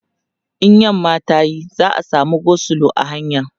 in yamma tayi za'a samu go slow a hanya